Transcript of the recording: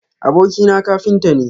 Abokina kafinta ne.